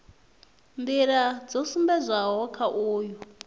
nḓila dzo sumbedzwaho kha uyu